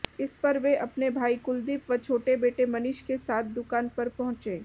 इस पर वे अपने भाई कुलदीप व छोटे बेटे मनीष के साथ दुकान पर पहुंचे